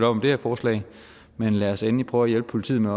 om det her forslag men lad os endelig prøve at hjælpe politiet med